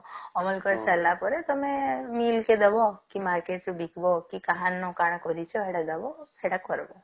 ଅମଳ କରିସାରିଲା ପରେ ତଆମେ ବିଲ କେ ଦବ କି market ରେ ବିକିବ କି କାହାର ନୁ କାଣ କରିଚ ସେଟା ଦବ ସେଟା କରିବ